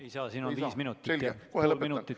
Ei saa, siin on viis minut, kolm minutit on veel.